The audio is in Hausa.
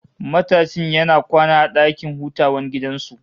Matashin yana kwana a dakin hutawan gidan su